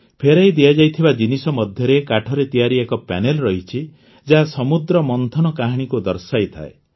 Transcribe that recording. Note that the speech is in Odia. ଫେରାଇ ଦିଆଯାଇଥିବା ଜିନିଷ ମଧ୍ୟରେ କାଠରେ ତଆରି ଏକ ପ୍ୟାନେଲ୍ ରହିଛି ଯାହା ସମୁଦ୍ର ମନ୍ଥନ କାହାଣୀକୁ ଦର୍ଶାଇଥାଏ